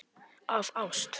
Af ást.